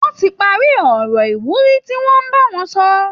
Wọ́n ti parí ọ̀rọ̀ ìwúrí tí wọ́n ń bá wọn sọ